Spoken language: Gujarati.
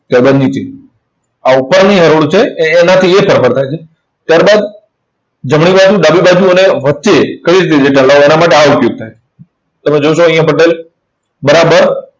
ત્યાર બાદ નીચે. આ ઉપરની હરોળ છે. એ એનાથી એ ફેરફાર થાય છે. ત્યાર બાદ જમણી બાજુ, ડાબી બાજુ અને વચ્ચે કઈ માટે આ ઉપયોગ થાય. તમે જોશો અહીંયા બરાબર